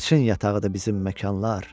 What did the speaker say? Laçın yatağı da bizim məkanlar.